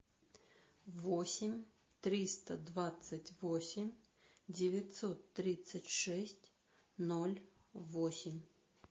восемь триста двадцать восемь девятьсот тридцать шесть ноль восемь